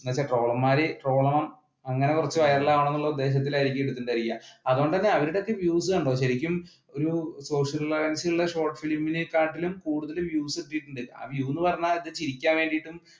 അങ്ങനത്തെ ട്രോളന്മാർ ട്രോളണം അങ്ങനെ കുറച്ച് viral ആവണം എന്ന് ഉദ്ദേശത്തിലായിരിക്കണം ഇത് ചെയ്യാ. അതുകൊണ്ടു തന്നെ അവരുടെയൊക്കെ views കണ്ടോ ശരിക്കും ഒരു social relevance ഉള്ള short film കാട്ടിലും കൂടുതൽ